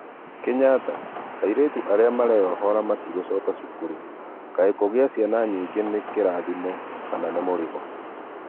Kenyatta: aĩretũ arĩa marenyohora matĩgũcoka cukuru, Kaĩ kugĩa cĩana nyĩngĩ nĩ kĩrathĩmo kana nĩ mũrĩgo